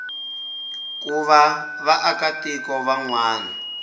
ku va vaakatiko van wana